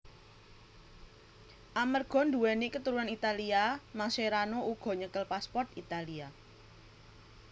Amarga nduwèni keturunan Italia Mascherano uga nyekel pasport Italia